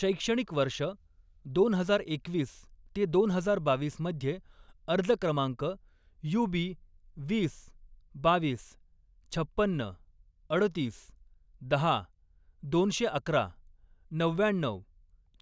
शैक्षणिक वर्ष दोन हजार एकवीस ते दोन हजार बावीस मध्ये, अर्ज क्रमांक युबी वीस, बावीस, छप्पन्न, अडोतीस, दहा, दोनशे अकरा, नव्व्याण्णऊ,